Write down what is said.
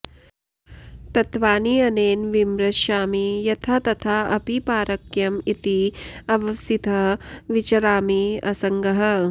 तत्त्वानि अनेन विमृशामि यथा तथा अपि पारक्यम् इति अवसितः विचरामि असङ्गः